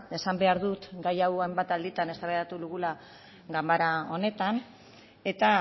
esan behar dut gai hau hainbat alditan eztabaidatu dugula ganbara honetan eta